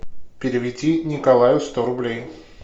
переведи николаю сто рублей